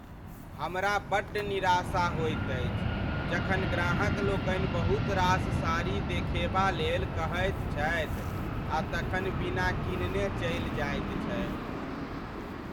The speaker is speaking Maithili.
हमरा बड्ड निराशा होइत अछि जखन ग्राहक लोकनि बहुत रास साड़ी देखेबा लेल कहैत छथि आ तखन बिना किनने चलि जाइत छथि।